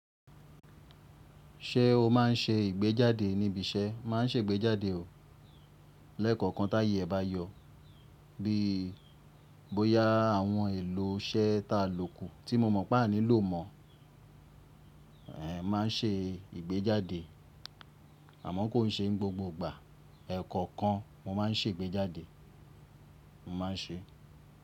Ṣẹ o ma n ṣe ìgbéjáde níbi iṣẹ? Ma n ṣègbéjáde o. Lẹ́kọ̀ọ̀kan táyé e ba yọ. Bí bo yá àwọn èlò iṣẹ́ ta ló kù tí mo mọ̀ pé a nílò mọ̀, ehn, ma n ṣe ìgbéjáde. Àmọ́ kò n ṣe n gbogbo ìgbà. Ẹ̀kọ̀ọ́ kan mo má n ṣègbéjáde, mo ma n ṣe.